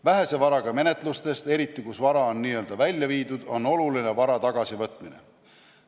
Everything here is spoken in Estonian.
Vähese varaga menetlustest, eriti kus vara on n-ö välja viidud, on oluline vara tagasivõtmine.